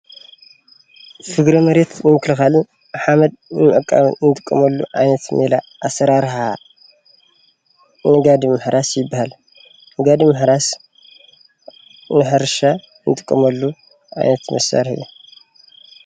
ፍግረ መሬት ንምክልካልን ሓመድ ንምዕቃብን ንጥቀመሉ ዓይነት ሜላ ኣሰራርሓ ንጋድም ምሕራስ ይብሃል፡ ንጋድም ምሕራስ ንሕርሻ ንጥቀመሉ ዓይነት መሳርሒ እዩ፡፡